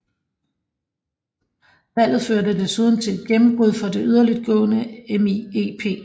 Valget førte desuden til et gennembrud for det yderligtgående MIEP